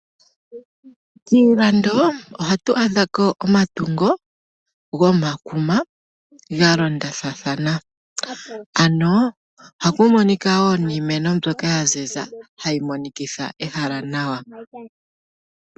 Kiilando ohatu adhako omatungo gomakuma, galondathana ano ohaku monika woo niimeno mbyoka yaziza, hayi monikitha ehala nawa.